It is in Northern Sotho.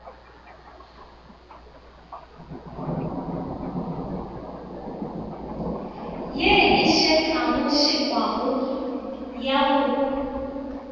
ye e šekašekwago ya go